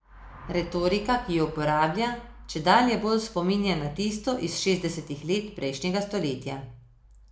Retorika, ki jo uporablja, čedalje bolj spominja na tisto iz šestdesetih let prejšnjega stoletja.